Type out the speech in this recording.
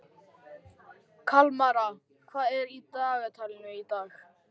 Kalmara, hvað er á dagatalinu í dag?